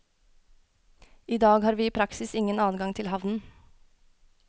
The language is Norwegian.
I dag har vi i praksis ikke adgang til havnen.